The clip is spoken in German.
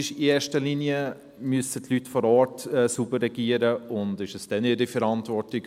In erster Linie müssen die Leute vor Ort sauber regieren und es ist ihre Verantwortung.